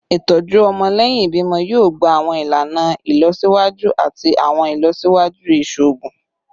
Itọju ọmọ lẹhin ibimọ yoo gba awọn ilana ilọsiwaju ati awọn ilọsiwaju iṣoogun